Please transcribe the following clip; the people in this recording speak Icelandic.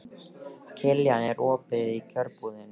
Kiljan, er opið í Kjörbúðinni?